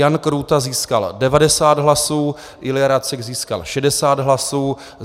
Jan Krůta získal 90 hlasů, Ilja Racek získal 60 hlasů.